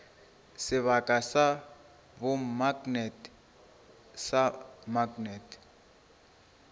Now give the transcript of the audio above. sebaka sa bomaknete sa maknete